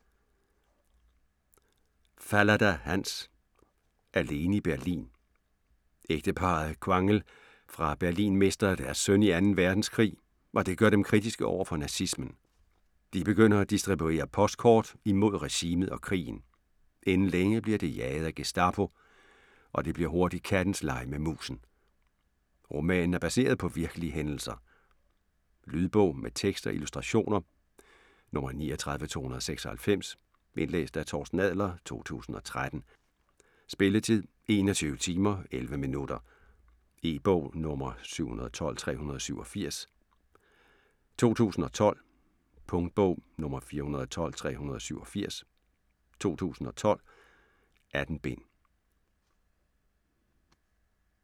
Fallada, Hans: Alene i Berlin Ægteparret Quangel fra Berlin mister deres søn i 2. verdenskrig, og det gør dem kritiske over for nazismen. De begynder at distribuere postkort imod regimet og krigen. Inden længe bliver de jaget af Gestapo, og det bliver hurtigt kattens leg med musen. Romanen er baseret på virkelige hændelser. Lydbog med tekst og illustrationer 39296 Indlæst af Torsten Adler, 2013. Spilletid: 21 timer, 11 minutter. E-bog 712387 2012. Punktbog 412387 2012. 18 bind.